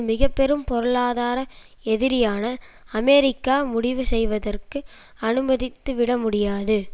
மிக பெரும் பொருளாதார எதிரியான அமெரிக்கா முடிவு செய்வதற்கு அனுமதித்துவிட முடியாது